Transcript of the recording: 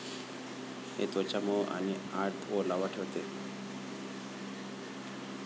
हे त्वचा मऊ आणि आत ओलावा ठेवते.